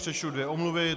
Přečtu dvě omluvy.